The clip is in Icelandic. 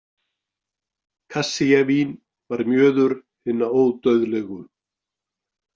Kassíavín var mjöður hinna ódauðlegu.